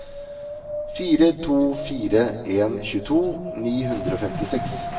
fire to fire en tjueto ni hundre og femtiseks